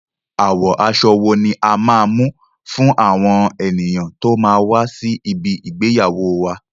Àwo aṣọ wó a máa mú fún àwọn ènìyàn tí ó máa wá sí ibi ìgbéyàwóo wá?